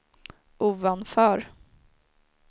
ovanför